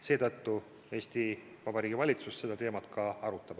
Seetõttu Eesti Vabariigi valitsus seda teemat ka arutab.